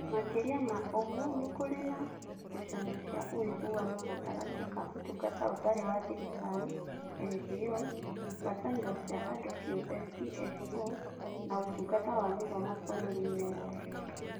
Makĩria ma ũguo, nĩ kũrĩ na ngucanio cia ũiguano gatagatĩ ka Ũtungata Ũtarĩ wa Thirikari (NGOs), ngwatanĩro cia andũ kĩũmbe (CSOs), na Ũtungata wa Gĩthomo bũrũriinĩ wothe.